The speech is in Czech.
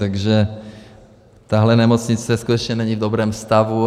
Takže tahle nemocnice skutečně není v dobrém stavu.